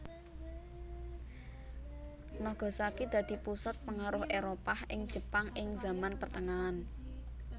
Nagasaki dadi pusat pengaruh Éropah ing Jepang ing zaman pertengahan